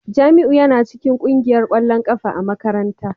Jamiu yana cikin kungiyar kwallon kafa ta makaranta